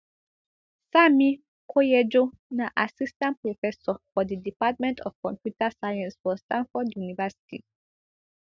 sanmi koyejo na assistant professor for di department of computer science for stanford university